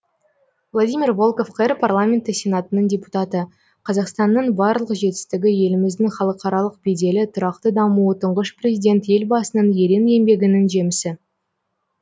владимир волков қр парламенті сенатының депутаты қазақстанның барлық жетістігі еліміздің халықаралық беделі тұрақты дамуы тұңғыш президент елбасының ерен еңбегінің жемісі